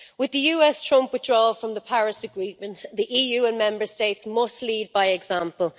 With the US Trump withdrawal from the Paris Agreement, the EU and Member States must lead by example.